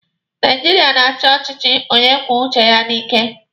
Naijiria na-achi ọchịchị onye kwuo uche ya n'ike